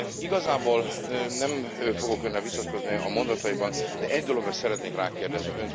Igazából nem fogok Önnel vitatkozni a mondatairól, de egy dologra szeretnék rákérdezni.